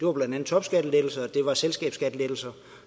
var blandt andet topskattelettelser og det var selskabsskattelettelser